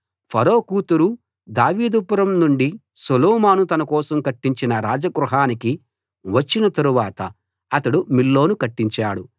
ఫరో కూతురు దావీదుపురం నుండి సొలొమోను తన కోసం కట్టించిన రాజగృహానికి వచ్చిన తరువాత అతడు మిల్లోను కట్టించాడు